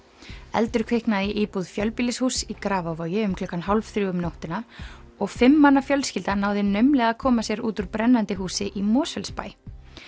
eldur kviknaði í íbúð fjölbýlishúss í Grafarvogi um klukkan hálf þrjú um nóttina og fimm manna fjölskylda náði naumlega að koma sér út úr brennandi húsi í Mosfellsbæ